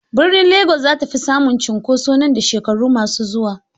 Birnin Legas za ta fi samun cunkoso nan da shekaru masu zuwa.